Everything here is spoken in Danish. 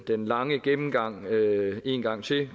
den lange gennemgang en gang til